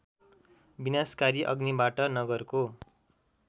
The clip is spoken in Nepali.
विनाशकारी अग्निबाट नगरको